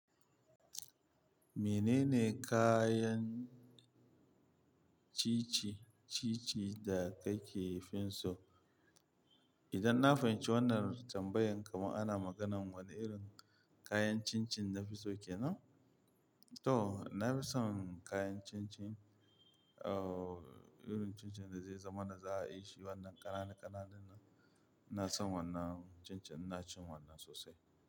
Menene kayan cici, cici da kake finso? Idan na fahimci wannar tambayan kamar ana maganan wane irin kayan cin-cin nafi so kenan? To, nafi son kayan cin-cin, uh, irin cin-cin da zai zama na za a yi shi wannan ƙananu-ƙananun nan. Ina son wannan cin-cin, ina cin wannan sosai.